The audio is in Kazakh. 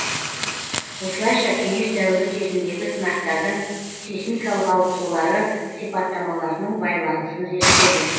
осылайша кеңес дәуірі кезіндегі сынақтардың сейсмикалық ауытқулары сипаттамаларының байланысын зерттеді